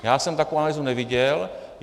Já jsem takovou analýzu neviděl.